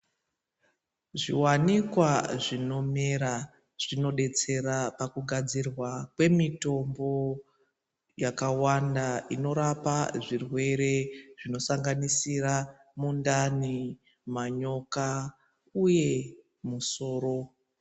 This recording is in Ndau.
Zviwanikwa zvinomera zvinobetsera pakugadzirwa kwemitombo yakawanda inorapa zvirwere zvinosanganisira mundani, manyoka uye musoro.